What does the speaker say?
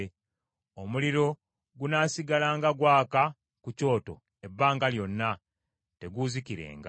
Omuliro gunaasigalanga gwaka ku kyoto ebbanga lyonna; teguuzikirenga.